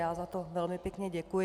Já za to velmi pěkně děkuji.